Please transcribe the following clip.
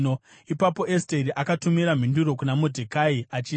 Ipapo Esteri akatumira mhinduro kuna Modhekai achiti,